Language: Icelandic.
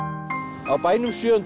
á bænum